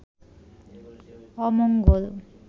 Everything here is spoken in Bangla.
অমঙ্গল